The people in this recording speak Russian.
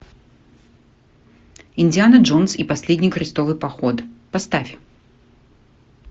индиана джонс и последний крестовый поход поставь